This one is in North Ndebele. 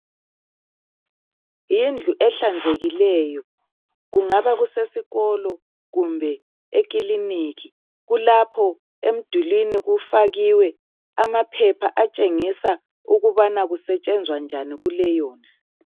Yindlu ehlanzekileyo kungabe kusesikolo kumbe ekilinika. Kulapho emdulini kufakiwe amaphepha atshengisa ukubana kusetshenzwa njani kuleyondlu.